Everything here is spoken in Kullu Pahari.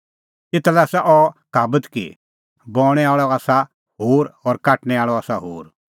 एता लै आसा अह कहाबत कि बऊंणैं आल़अ आसा होर और काटणै आल़अ आसा होर